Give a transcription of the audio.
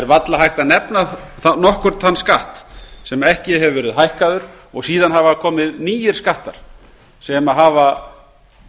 varla er hægt að nefna nokkurn þann skatt sem ekki hefur verið hækkaður og síðan hafa komið nýir skattar sem hafa